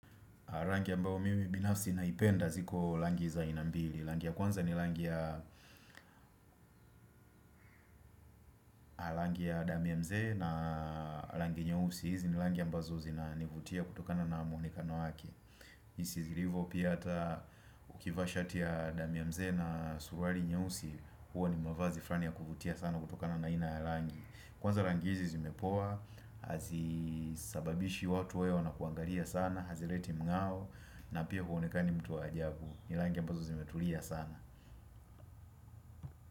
Rangi ambayo mimi binafsi naipenda ziko rangi za aina mbili. Rangi ya kwanza ni rangi ya rangi ya damu ya mzee na rangi nyeusi. Hizi ni rangi ambazo zinanivutia kutokana na muonekano wake. Jinsi zilivyo pia hata ukivaa shati ya dami ya mzee na suruali nyeusi. Huwa ni mavazi fulani ya kuvutia sana kutokana na ina ya rangi. Kwanza rangi hizi zimepoa. Hazisababishi watu wawe wanakuangalia sana. Hazileti mng'ao na pia huonekani mtu wa ajabu. Ni rangi ambazo zimetulia sana.